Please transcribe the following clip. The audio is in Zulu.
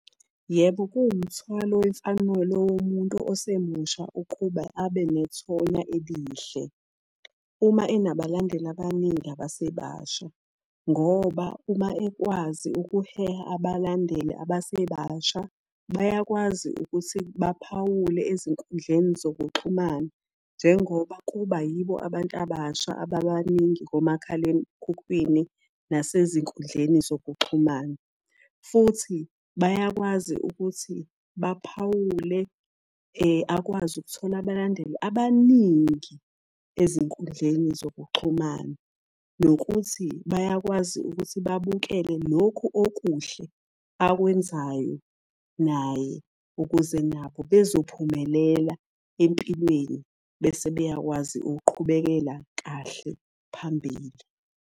Yebo kuwumthwalo wemfanelo womuntu osemusha ukuba abe nethonya elihle. Uma enabalandeli abaningi abasebasha, ngoba uma ekwazi ukuheha abalandeli abasebasha bayakwazi ukuthi baphawule ezinkundleni zokuxhumana. Njengoba kuba yibo abantu abasha ababaningi ngomakhalekhukhwini nasezinkundleni zokuxhumana. Futhi bayakwazi ukuthi baphawule akwazi ukuthola abalandeli abaningi ezinkundleni zokuxhumana. Nokuthi bayakwazi ukuthi babukele lokhuokuhle akwenzayo naye, ukuze nabo bezophumelela empilweni bese beyakwazi ukuqhubekela kahle phambili.